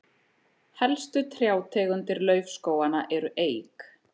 helstu trjátegundir laufskóganna eru eik